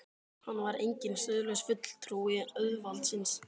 Hann var enginn siðlaus fulltrúi auðvaldsins.